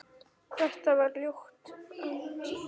Þetta var ljótt land.